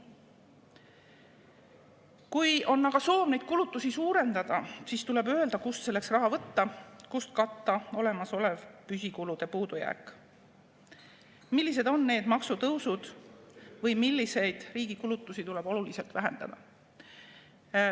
Kui on aga soov neid kulutusi suurendada, siis tuleb öelda, kust selleks raha võtta, kuidas katta olemasolev püsikulude puudujääk: millised on need maksutõusud või milliseid riigi kulutusi tuleb oluliselt vähendada.